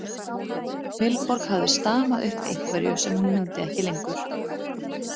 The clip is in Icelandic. Vilborg hafði stamað upp einhverju sem hún mundi ekki lengur.